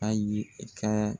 A yili i kaa